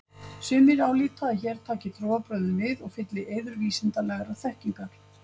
sumir álíta að hér taki trúarbrögðin við og fylli í eyður vísindalegrar þekkingar